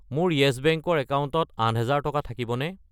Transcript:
মোৰ Yes Bank ৰ একাউণ্টত 8000 টকা থাকিবনে?